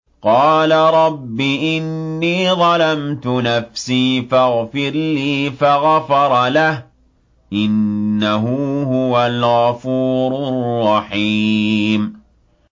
قَالَ رَبِّ إِنِّي ظَلَمْتُ نَفْسِي فَاغْفِرْ لِي فَغَفَرَ لَهُ ۚ إِنَّهُ هُوَ الْغَفُورُ الرَّحِيمُ